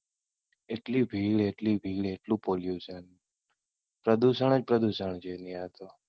એટલી ભીડ, એટલી ભીડ એટલું Pollution પ્રદુષણ જ પ્રદુષણ છે ત્યાં તો.